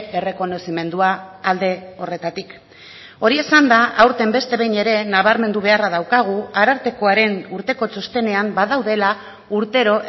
errekonozimendua alde horretatik hori esanda aurten beste behin ere nabarmendu beharra daukagu arartekoaren urteko txostenean badaudela urtero